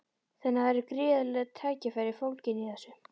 Þannig að það eru gríðarleg tækifæri fólgin í þessu?